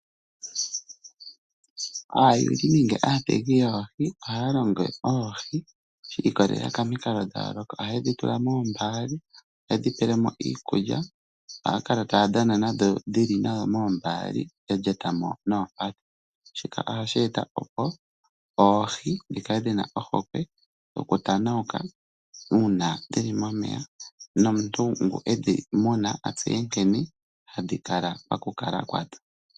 Aayuli nenge aaategi yoohi ohaya munu oohi shi ikwatelela komikalo dha yooloka. Ohaye dhi tula moombaali, ohaye dhi pele mo iikulya nohaya kala taya dhana nadho dhili nayo moombaali ya lyata mo noompadhi. Shika ohashi eta opo oohi dhi kale dhi na ohokwe yokutanauka uuna dhi li momeya nomuntu ngoka e dhi muna a tseye nkene hadhi kala pakukala kwadho.